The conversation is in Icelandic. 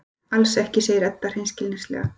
Alls ekki, segir Edda hreinskilnislega.